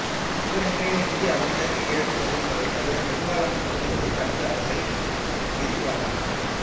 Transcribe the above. இவர் இன்றைய இந்தியாவின் தெற்கு கிழக்குப் பகுதிகளைத் தவிர பெரும்பாலான பகுதிகளில் தனது அரசை விரிவாக்கினார்